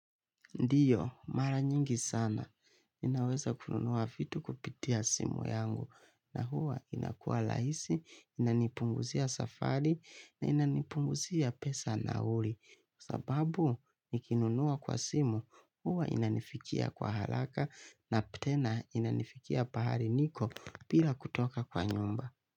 Ndiyo, mara nyingi sana, ninaweza kununua vitu kupitia simu yangu, na huwa inakuwa rahisi, inanipunguzia safari, na inanipunguzia pesa ya nauli. Sababu, nikinunuwa kwa simu, huwa inanifikia kwa haraka, na tena inanifikia pahali niko, bila kutoka kwa nyumba.